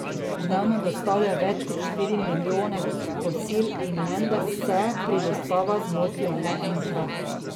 Dnevno dostavijo več kot štiri milijone kosil in menda se pri dostavah zmotijo le enkrat.